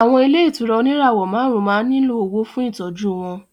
Àwọn ilé ìtura oníràwọ̀ márùn-ún máa ń nílò owó fún Ìtọ́jú wọn